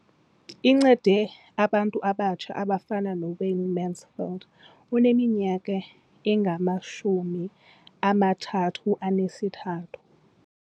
Incede abantu abatsha abafana noWayne Mansfield oneminyaka engama-33.